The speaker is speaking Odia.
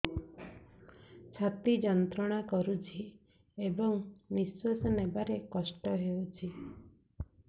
ଛାତି ଯନ୍ତ୍ରଣା କରୁଛି ଏବଂ ନିଶ୍ୱାସ ନେବାରେ କଷ୍ଟ ହେଉଛି